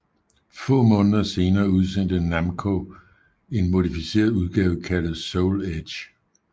Få måneder senere udsendte Namco en modificeret udgave kaldt Soul Edge Ver